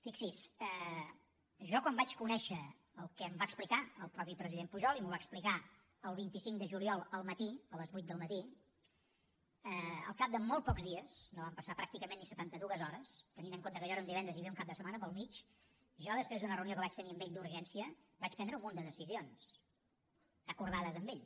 fixi s’hi jo quan vaig conèixer el que em va explicar el president pujol mateix i m’ho va explicar el vint cinc de juliol al matí a les vuit del matí al cap de molt pocs dies no van passar pràcticament ni setanta dues hores tenint en compte que allò era un divendres i hi havia un cap de setmana pel mig jo després d’una reunió que vaig tenir hi d’urgència vaig prendre un munt de decisions acordades amb ell